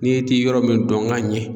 Ni e ti yɔrɔ min dɔn ka ɲɛ